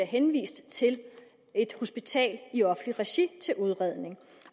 henvist til et hospital i offentligt regi til udredning